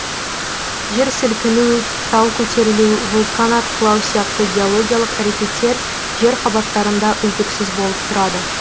жер сілкіну тау көтерілу вулкан атқылау сияқты геологиялық әрекеттер жер қабаттарында үздіксіз болып тұрады